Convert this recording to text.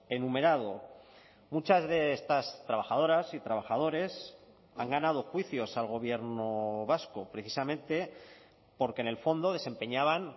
enumerado muchas de estas trabajadoras y trabajadores han ganado juicios al gobierno vasco precisamente porque en el fondo desempeñaban